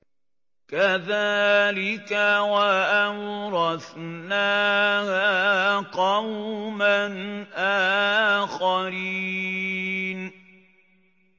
كَذَٰلِكَ ۖ وَأَوْرَثْنَاهَا قَوْمًا آخَرِينَ